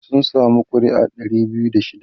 sun samu ƙuri'a Dari biyu da shida